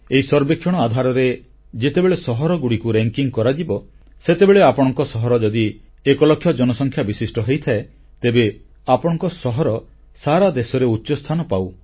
ଏହି ସର୍ବେକ୍ଷଣ ଆଧାରରେ ଯେତେବେଳେ ସହରଗୁଡ଼ିକର ମାନ୍ୟତା ତାଲିକା କରାଯିବ ସେତେବେଳେ ଆପଣଙ୍କ ସହର ଯଦି ଏକଲକ୍ଷ ଜନସଂଖ୍ୟା ବିଶିଷ୍ଟ ହୋଇଥାଏ ତେବେ ଆପଣଙ୍କ ସହର ସାରା ଦେଶରେ ଉଚ୍ଚସ୍ଥାନ ପାଉ